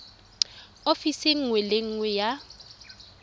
ofising nngwe le nngwe ya